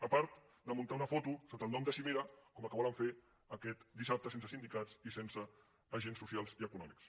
a part de muntar una foto sota el nom de cimera com la que volen fer aquest dissabte sense sindicats i sense agents socials i econòmics